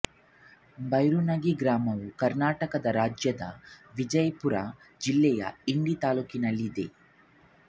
ಭೈರುಣಗಿ ಗ್ರಾಮವು ಕರ್ನಾಟಕ ರಾಜ್ಯದ ವಿಜಯಪುರ ಜಿಲ್ಲೆಯ ಇಂಡಿ ತಾಲ್ಲೂಕಿನಲ್ಲಿದೆ